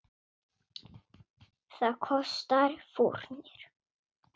Það kostar fórnir.